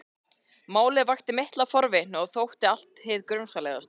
Málið vakti mikla forvitni og þótti allt hið grunsamlegasta.